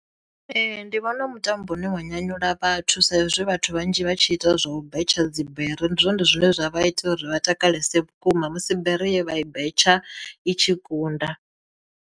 Ee ndi vhona mutambo une wa nyanyula vhathu sa izwi vhathu vhanzhi vha tshi ita zwo betsha dzibere ndi zwone zwine zwa vha ita uri vha takalesa vhukuma musi bere ye vha i betshe i tshi kunda.